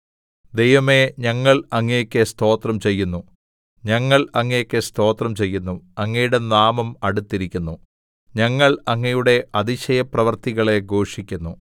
ദൈവമേ ഞങ്ങൾ അങ്ങേക്ക് സ്തോത്രം ചെയ്യുന്നു ഞങ്ങൾ അങ്ങേക്ക് സ്തോത്രം ചെയ്യുന്നു അങ്ങയുടെ നാമം അടുത്തിരിക്കുന്നു ഞങ്ങൾ അങ്ങയുടെ അതിശയപ്രവൃത്തികളെ ഘോഷിക്കുന്നു